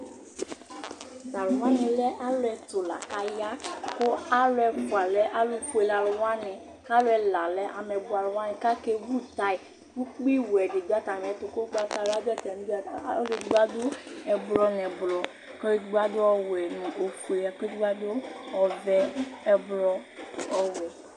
Tu aluwani lɛ ãlu ɛtu, laku aya Ku ãlu ɛfua lɛ alufue wani Ku ãlu ɛla lɛ ameyibɔalu waní Ku ake ʋu tàyà Ku ukpi wɛ ɖi ɖu atami ɛtu Ku ugbatawlã ɖu atami li Ãlu eɖigbo aɖu ɛblɔ nu ɛblɔ Ku ɔlueɖigbo aɖu ɔwɛ, nu ofue Ku ɔlueɖigbo aɖu ɔwɛ, ɛblɔ, ɔwɛ